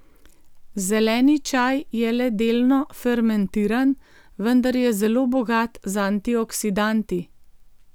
Zeleni čaj je le delno fermentiran, vendar je zelo bogat z antioksidanti.